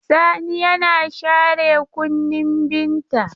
Sani yana share kunnin Binta.